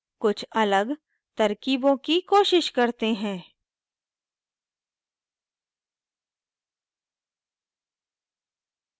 कुछ अलग तरक़ीबों की कोशिश करते हैं